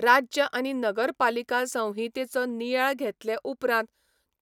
राज्य आनी नगरपालिका संहितेचो नियाळ घेतले उपरांत,